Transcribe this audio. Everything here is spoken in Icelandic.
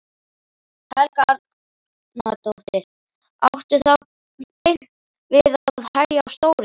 Helga Arnardóttir: Áttu þá beint við að hægja á stóriðju?